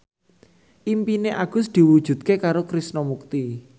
impine Agus diwujudke karo Krishna Mukti